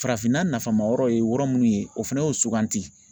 Farafinna nafama yɔrɔ ye yɔrɔ munnu ye o fɛnɛ y'o suganti.